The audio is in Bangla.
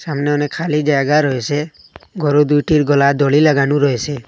সামনে অনেক খালি জায়গা রয়েসে গরু দুইটির গলায় দড়ি লাগানো রয়েসে।